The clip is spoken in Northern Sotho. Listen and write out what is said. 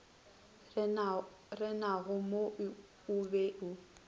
renago mo o be o